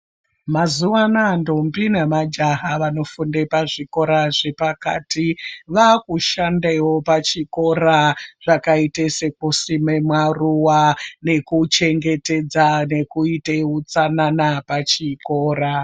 Mazuwa anaya ndombi nemajaha avanofunde zvikora zvepakati vakusandewo pachikora zvakaite zvekusime maruwa nekuchengetedza nekuita utsanana pachikora .